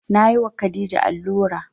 Na yi wa khadija allura